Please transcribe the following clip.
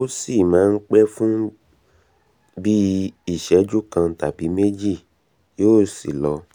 ó sì máa ń pẹ́ fún bí i ìṣẹ́jú kan tàbí méjì yóò sì lọ